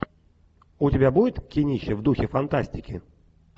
у тебя будет кинище в духе фантастики